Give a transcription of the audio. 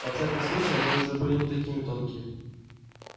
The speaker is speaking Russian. во всяком случае они уже были не такими тонкие